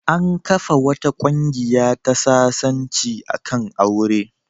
An kafa wata ƙungiya ta sasanci a kan aure.